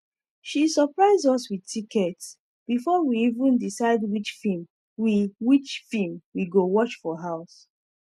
she surprise us with tickets before we even decide which film we which film we go watch for house